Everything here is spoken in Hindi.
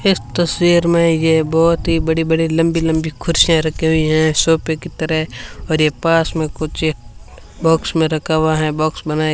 इस तस्वीर में ये बहोत ही बड़ी बड़ी लंबी लंबी कुर्सियां रखी हुई है सोफे की तरह और ये पास में कुछ बॉक्स में रखा हुआ है बॉक्स बनाएं --